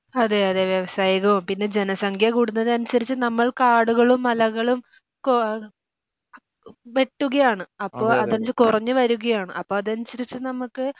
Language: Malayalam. അതെ അതെ വ്യവസായികവും പിന്നെ ജനസംഖ്യ കൂടുന്നതിനനുസരിച്ച് നമ്മൾ കാടുകളും മലകളും കൊ വെട്ടുകയാണ് അപ്പം അതനുസരിച്ച് കുറഞ്ഞുവരികയാണ് അപ്പം അതനുസരിച്ച് നമുക്ക്